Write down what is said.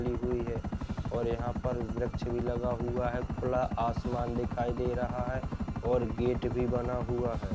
ली हुई है और यहां पर वृक्ष भी लगा हुआ है| खुला आसमान दिखाई दे रहा है और गेट भी बना हुआ है।